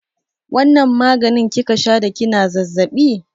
Wanna maganin kika sha da kina zazzaɓi?